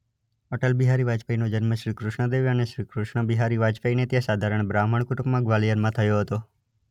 અટલ બિહારી વાજપેયીનો જન્મ શ્રી કૃષ્ણાદેવી અને શ્રી કૃષ્ણ બિહારી વાજપેયીને ત્યાં સાધારણ બ્રાહ્મણ કુટુંબમાં ગ્વાલિયરમાં થયો હતો.